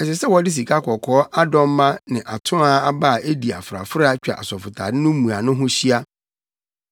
Ɛsɛ sɛ wɔde sikakɔkɔɔ adɔmma ne atoaa aba a edi afrafra twa asɔfotade no mmuano ho hyia.